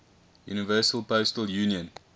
universal postal union